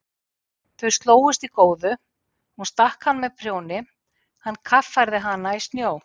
Þau slógust í góðu, hún stakk hann með prjóni, hann kaffærði hana í snjó.